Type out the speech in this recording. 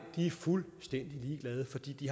de er fuldstændig ligeglade fordi de